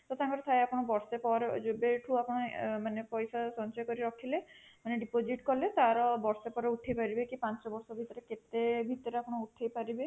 ତ ତାଙ୍କର ଥାଏ ଆପଣ ବର୍ଷେ ପରେ ଯେବେ ଠୁ ଆପଣ ମାନେ ପଇସା ସଞ୍ଚୟ କରି ରଖିଲେ ମାନେ deposit କଲେ ତାର ବର୍ଷେ ପରେ ଉଠେଇ ପାରିବେ କି ପାଞ୍ଚ ବର୍ଷ ଭିତରେ କେତେ ଭିତରେ ଉଠେଇ ପାରିବେ